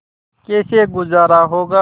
कैसे गुजारा होगा